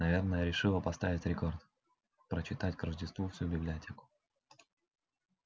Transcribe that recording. наверное решила поставить рекорд прочитать к рождеству всю библиотеку